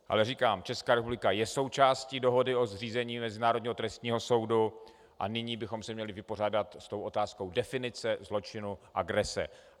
Ale říkám, Česká republika je součástí dohody o zřízení Mezinárodního trestního soudu a nyní bychom se měli vypořádat s tou otázkou definice zločinu agrese.